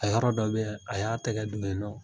A yɔrɔ dɔ be yen, a y'a tɛgɛ don yen nɔn